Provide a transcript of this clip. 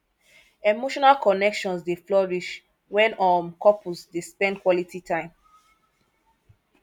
emotional connections dey flourish when um couples dey spend quality time